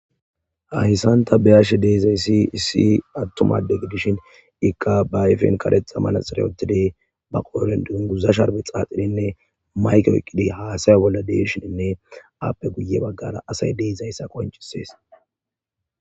Hahessanta beyashe deezay si issi attumade gidishin ikqa baayfen kadexa manaxira otide ba qooren dunguzasharbe xaaxirinne mayke oyqqidi haasaya bolla deishininne appe guye baggara asay deezayssa qoncisees.